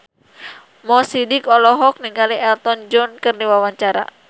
Mo Sidik olohok ningali Elton John keur diwawancara